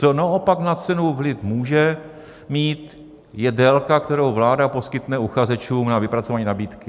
Co naopak na cenu vliv může mít, je délka, kterou vláda poskytne uchazečům na vypracování nabídky.